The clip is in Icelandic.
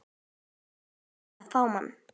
Ég feimin og fámál.